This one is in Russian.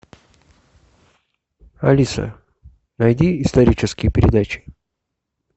алиса найди исторические передачи